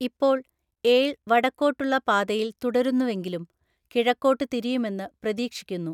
ഇപ്പോൾ, ഏൾ വടക്കോട്ടുള്ള പാതയില്‍ തുടരുന്നുവെങ്കിലും കിഴക്കോട്ട് തിരിയുമെന്ന് പ്രതീക്ഷിക്കുന്നു.